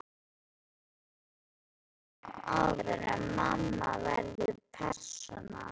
Þær voru á aldrinum áður en mamma verður persóna.